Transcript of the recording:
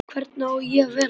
Hvernig á ég að vera?